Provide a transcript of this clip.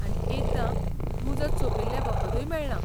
आनी एकदां मुजत सोंपिल्ले वखदूय मेळ्ळां.